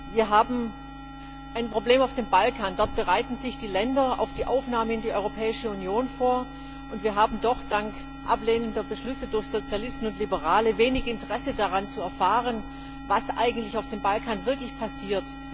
Wir haben ein Problem auf dem Balkan, dort bereiten sich die Länder auf die Aufnahme in die Europäische Union vor, und wir haben doch dank ablehnender Beschlüsse durch Sozialisten und Liberale wenig Interesse daran, zu erfahren, was eigentlich wirklich auf dem Balkan passiert.